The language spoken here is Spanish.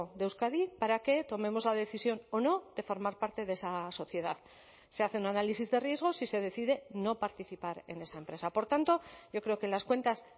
de euskadi para que tomemos la decisión o no de formar parte de esa sociedad se hace un análisis de riesgos y se decide no participar en esa empresa por tanto yo creo que las cuentas